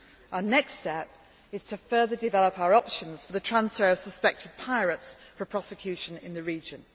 Our next step is to further develop our options for the transfer of suspected pirates for prosecution in the